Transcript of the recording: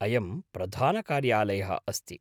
अयं प्रधानकार्यालयः अस्ति।